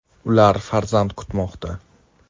Ular farzand kutmoqda.